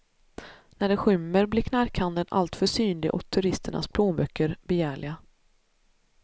När det skymmer blir knarkhandeln allt för synlig och turisternas plånböcker begärliga.